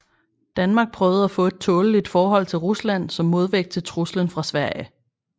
Danmark prøvede at få et tåleligt forhold til Rusland som modvægt til truslen fra Sverige